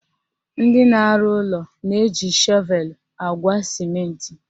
Ndị na-arụ ụlọ na-eji shọvelu agwa sịmentị